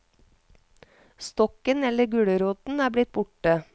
Stokken eller gulroten er blitt borte.